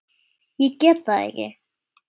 Ég get það ekki